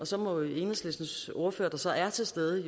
så må enhedslistens ordfører der så er til stede